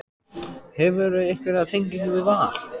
Hefurðu einhverja tengingu við Val?